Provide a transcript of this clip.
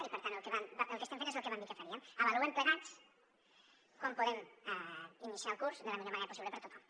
i per tant el que estem fent és el que vam dir que faríem avaluem plegats com podem iniciar el curs de la millor manera possible per a tothom